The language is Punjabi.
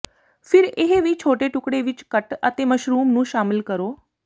ਫਿਰ ਇਹ ਵੀ ਛੋਟੇ ਟੁਕੜੇ ਵਿੱਚ ਕੱਟ ਅਤੇ ਮਸ਼ਰੂਮ ਨੂੰ ਸ਼ਾਮਿਲ ਕਰੋ